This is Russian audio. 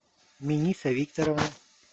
миниса викторовна